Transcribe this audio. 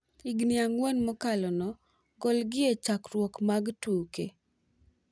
Higni ang'wen mokalo no golgi e chakruok mag tuke.